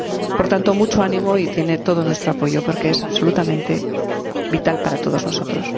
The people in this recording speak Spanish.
Por tanto, mucho ánimo, y tiene todo nuestro apoyo, porque es absolutamente vital para todos nosotros.